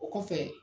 O kɔfɛ